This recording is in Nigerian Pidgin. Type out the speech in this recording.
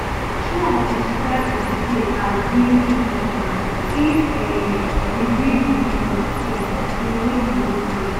trump described di state as really important if um we win wisconsin we win di whole thing